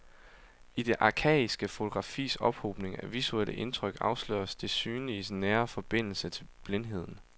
I det arkaiske fotografis ophobning af visuelle indtryk afsløres det synliges nære forbindelse til blindheden.